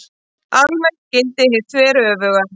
Almennt gildir hið þveröfuga.